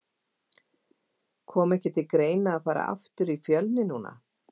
Kom ekki til greina að fara aftur í Fjölni núna?